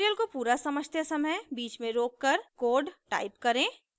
tutorial को पूरा समझते समय बीच में रोककर कोड टाइप करें